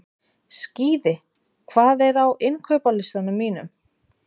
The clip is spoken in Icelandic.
Skíði, hvað er á innkaupalistanum mínum?